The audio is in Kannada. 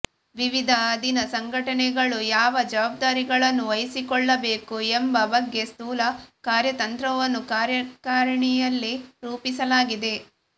ವಿವಿಧ ಅಧೀನ ಸಂಘಟನೆಗಳು ಯಾವ ಜವಾಬ್ದಾರಿಗಳನ್ನು ವಹಿಸಿಕೊಳ್ಳಬೇಕು ಎಂಬ ಬಗ್ಗೆ ಸ್ಥೂಲ ಕಾರ್ಯತಂತ್ರವನ್ನು ಕಾರ್ಯಕಾರಿಣಿಯಲ್ಲಿ ರೂಪಿಸಲಾಗಿದೆ